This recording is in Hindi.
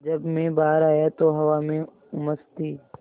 जब मैं बाहर आया तो हवा में उमस थी